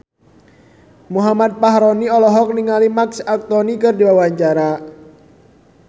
Muhammad Fachroni olohok ningali Marc Anthony keur diwawancara